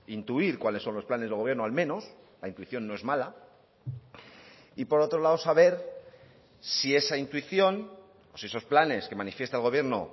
intuir cuáles son los planes del gobierno al menos la intuición no es mala y por otro lado saber si esa intuición si esos planes que manifiesta el gobierno